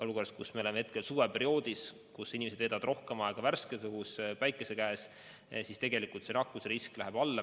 Oleme ka jõudnud suveperioodi, kus inimesed veedavad rohkem aega värskes õhus päikese käes ja siis tegelikult nakkusrisk läheb alla.